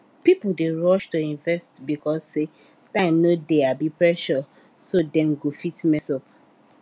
people dey rush to invest because say time no dey abi pressure so dem go fit mess up